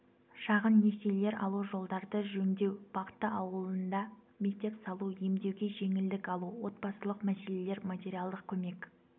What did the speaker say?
шағын несиелер алу жолдарды жөндеу бақты ауылында мектеп салу емдеуге жеңілдік алу отбасылық мәселелер материалдық көмек